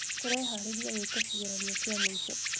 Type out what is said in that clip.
Tũreharĩrĩria gwĩka kĩgeranio kĩa mũico